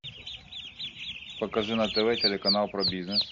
покажи на тв телеканал про бизнес